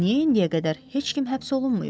Niyə indiyə qədər heç kim həbs olunmayıb?